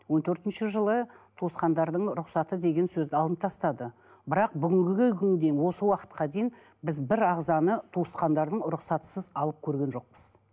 он төртінші жылы туысқандардың рұқсаты деген сөзді алынып тастады бірақ бүгінгі күнге дейін осы уақытқа дейін біз бір ағзаны туысқандардың рұқсатсыз алып көрген жоқпыз